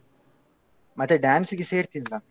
ಮತ್ತೆ dance ಗೆ ಸೇರ್ತಿಯಲ್ಲ.